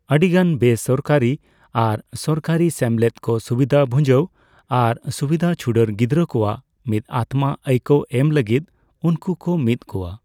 ᱟᱹᱰᱤᱜᱟᱱ ᱵᱮᱥᱚᱨᱠᱟᱨᱤ ᱟᱨ ᱥᱚᱨᱠᱟᱨᱤ ᱥᱮᱢᱞᱮᱫ ᱠᱚ ᱥᱩᱵᱤᱫᱷᱟᱹ ᱵᱷᱩᱸᱡᱟᱹᱣ ᱟᱨ ᱥᱩᱵᱤᱫᱷᱟᱹ ᱪᱷᱩᱰᱟᱹᱨ ᱜᱤᱫᱽᱨᱟᱹ ᱠᱚᱣᱟᱜ ᱢᱤᱫ ᱟᱛᱢᱟ ᱟᱹᱭᱠᱟᱹᱣ ᱮᱢ ᱞᱟᱹᱜᱤᱫ ᱩᱱᱠᱩ ᱠᱚ ᱢᱤᱫ ᱠᱚᱣᱟ ᱾